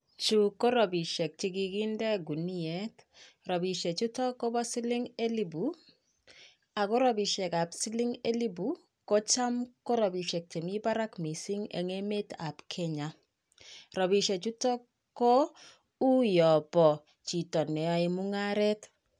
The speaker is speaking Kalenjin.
Chu ko robisiek che kikinde guniet. Robisiechutok kobo siling elepu ako robisiek ap siling elepu ko cham ko robisiek chemi barak mising eng emeetap Kenya. Robisiechutok ko uuyo bo chito neyae mung'aret.